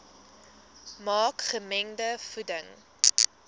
maak gemengde voeding